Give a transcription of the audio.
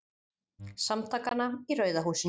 Samtakanna í Rauða húsinu.